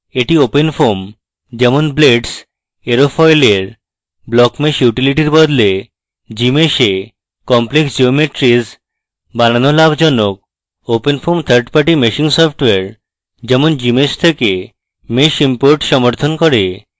এটি openfoam যেমন blades aerofoil এর blockmesh utility বদলে gmsh এ complex geometries বানানো লাভজনক